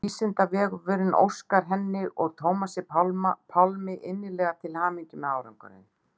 Vísindavefurinn óskar henni og Tómasi Pálmi innilega til hamingju með árangurinn.